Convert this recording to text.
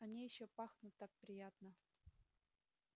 они ещё пахнут так приятно